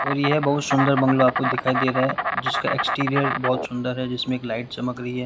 और यह बहुत सुंदर बंगला आपको दिखाई दे रहा है जिसका एक्सटीरियर बहोत सुंदर है जिसमें एक लाइट चमक रही है।